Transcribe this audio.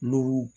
Lɔgɔ